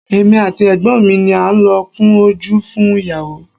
Èmi àti Ẹ̀gbọ́n mi ni a lọ kun ojú fún ìyàwó.